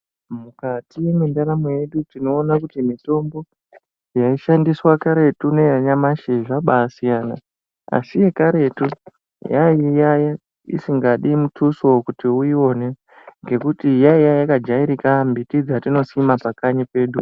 Mukati mwendaramo yedu tinoona kuti mitombo yaishandiswa karetu neyanyamashi zvabaasiyana asi yekaretu yainge isingadi mutuso kuti uyione ngekuti yaiye yakajairika mbiti dzatinosima pakanyi pedu.